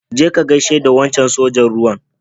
Je ka ka gaishe da wancan sojan ruwan.